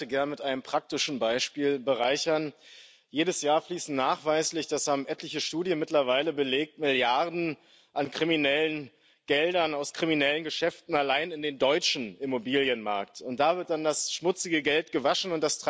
Ich würde die Debatte gern mit einem praktischen Beispiel bereichern Jedes Jahr fließen nachweislich das haben etliche Studien mittlerweile belegt Milliarden an kriminellen Geldern aus kriminellen Geschäften allein in den deutschen Immobilienmarkt, und da wird dann das schmutzige Geld gewaschen.